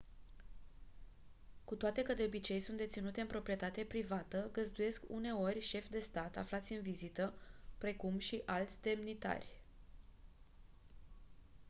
cu toate că de obicei sunt deținute în proprietate privată găzduiesc uneori șefi de stat aflați în vizită precum și alți demnitari